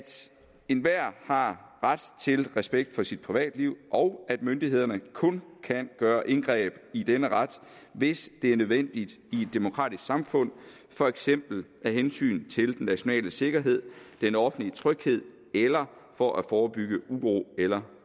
enhver har ret til respekt for sit privatliv og at myndighederne kun kan gøre indgreb i denne ret hvis det er nødvendigt i et demokratisk samfund for eksempel af hensyn til den nationale sikkerhed den offentlige tryghed eller for at forebygge uro eller